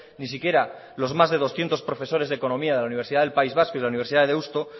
ni siquiera los más de doscientos profesores de economía de la universidad del país vasco y de la universidad de deusto